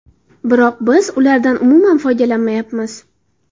Biroq biz ulardan umuman foydalanmayapmiz.